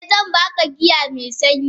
Eh zan baka giya me sanyi.